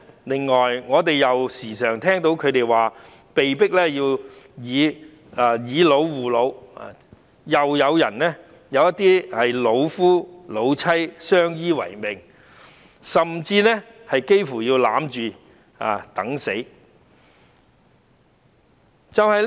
此外，我們經常聽到長者說被迫要"以老護老"，亦有一些老夫老妻相依為命，甚至幾乎要互擁着等死。